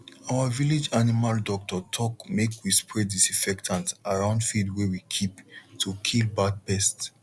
our village animal doctor talk make we spray disinfectant around feed way we keep to kill bad pests